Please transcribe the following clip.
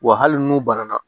Wa hali n'u banana